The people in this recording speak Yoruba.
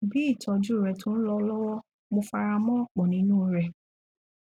bí ìtọjú rẹ tó ń lọ lọwọ mo fara mọ ọpọ nínú u rẹ